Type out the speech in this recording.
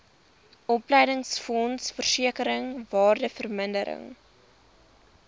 opleidingsfonds versekering waardevermindering